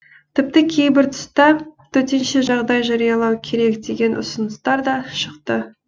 тіпті кейбір тұста төтенше жағдай жариялау керек деген ұсыныстар да шықты